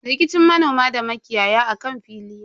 Rikicin manoma da makiyaya akan fili ne.